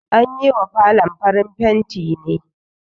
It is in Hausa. An yi wa falon farin fenti ne